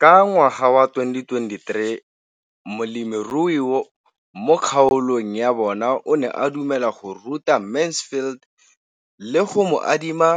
Ka ngwaga wa 2013, molemirui mo kgaolong ya bona o ne a dumela go ruta Mansfield le go mo adima